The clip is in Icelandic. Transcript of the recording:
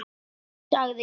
Nei, nei, sagði ég.